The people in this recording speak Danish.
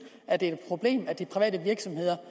at det er et problem at de private virksomheder